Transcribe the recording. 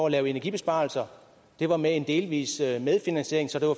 at lave energibesparelser det var med en delvis medfinansiering så det var